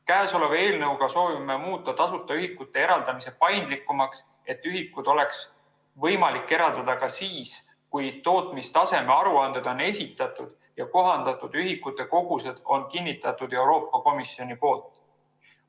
Käesoleva eelnõuga soovime muuta tasuta ühikute eraldamise paindlikumaks, et ühikuid oleks võimalik eraldada ka siis, kui tootmistaseme aruanded on esitatud ja kohandatud ühikute kogused on kinnitatud Euroopa Komisjoni poolt.